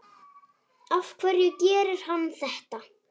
Af hverju gerir hann þetta?